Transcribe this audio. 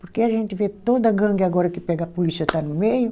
Porque a gente vê toda a gangue agora que pega a polícia está no meio.